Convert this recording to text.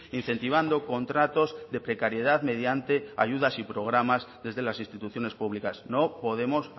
incentivando contratos de precariedad mediante ayudas y programas desde las instituciones públicas no podemos